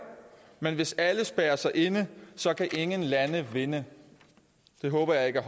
men hvis alle spærrer sig inde så kan ingen lande vinde det håber jeg